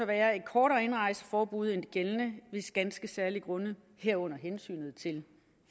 være et kortere indrejseforbud end det gældende hvis ganske særlige grunde herunder hensynet til